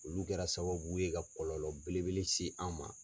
Olu kɛra sababu ye ka kɔlɔlɔ bele bele se an ma.